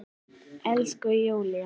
Elsku Júlla!